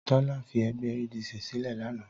Tọ́lá fi ẹgbẹ́ ADC sílẹ̀ lánàá.